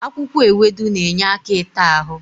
Akwụkwọ ewedu na-enye aka ịta ahụ.